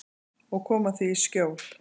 Og koma því í skjól.